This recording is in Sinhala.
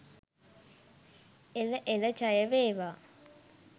එළ එළ ජය වේවා!